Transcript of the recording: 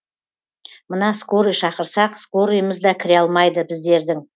мына скорый шақырсақ скорыйымыз да кіре алмайды біздердің